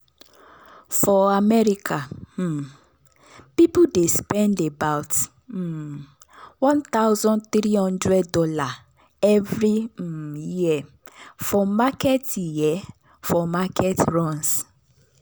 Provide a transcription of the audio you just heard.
for america um people dey spend about [um]one thousand three hundred dollarsevery um year for market year for market runs.